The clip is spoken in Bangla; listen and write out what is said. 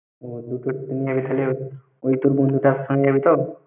ও দুটোর train এ ওই তোর বন্ধুটার সঙ্গে যাবি তো?